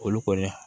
Olu kɔni